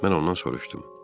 Mən ondan soruşdum.